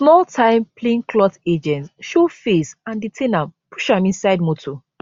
small time plainclothe agents show face and detain am push am inside motor